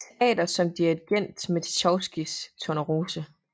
Teater som dirigent med Tjajkovskijs Tornerose